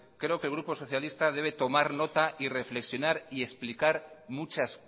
creo que el grupo socialista debe tomar nota y reflexionar y explicar muchas